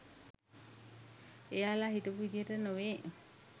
එයාලා හිතපු විධියට නෙවේ.